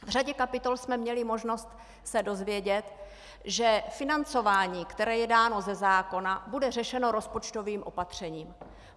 V řadě kapitol jsme měli možnost se dozvědět, že financování, které je dáno ze zákona, bude řešeno rozpočtovým opatřením.